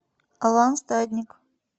алан стадник